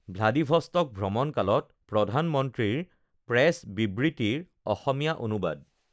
Vladivostok ভ্ৰমণকালত প্ৰধানমন্ত্ৰীৰ press বিবৃতিৰ অসমীয়া অনুবাদ